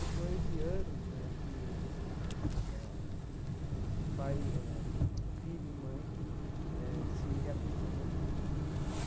Depois de anos né que eh os pai eh, filho e mãe eh se reaproximou.